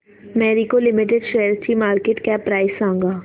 Marico limited शेअरची market cap price सांगा